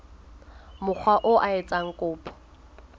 mokga oo a etsang kopo